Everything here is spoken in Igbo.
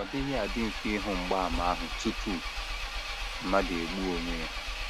Ọ dịghị adị mfe ịhụ mgbaàmà ahụ tupu mmadụ egbuo onwe ya.